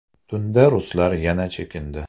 Tunda ruslar yana chekindi.